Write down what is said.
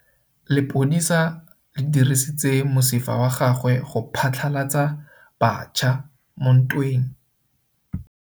Lepodisa le dirisitse mosifa wa gagwe go phatlalatsa batšha mo ntweng.